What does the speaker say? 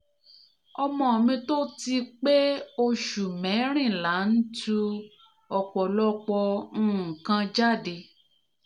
ọmọ mi tó ti pé òṣù merìnlá ń tú ọ̀pọ̀lọpọ̀ nǹkan jáde